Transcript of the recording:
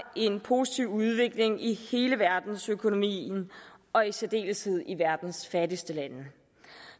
en positiv udvikling i hele verdensøkonomien og i særdeleshed i verdens fattigste lande